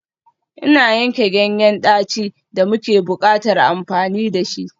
Ina yanke ganyen daci da muke buƙatar amfani da shi.